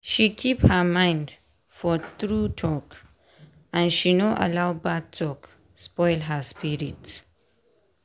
she keep her mind for true talk and she no allow bad talk spoil her spirit.